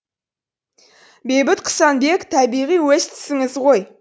бейбіт құсанбек табиғи өз тісіңіз ғой